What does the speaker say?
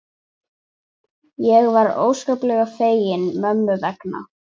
Ég var óskaplega fegin mömmu vegna.